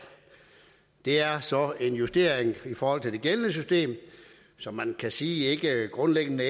det er så en justering i forhold til det gældende system som man kan sige grundlæggende